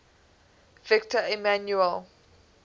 victor emmanuel